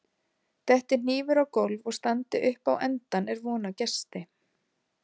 Detti hnífur á gólf og standi upp á endann er von á gesti.